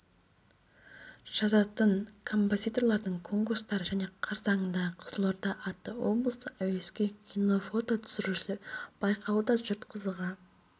жазатын композиторлардың конкурстары және қарсаңындағы қызылорда атты облыстық әуесқой кино-фото түсірушілер байқауы да жұрт қызыға